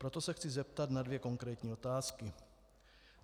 Proto se chci zeptat na dvě konkrétní otázky.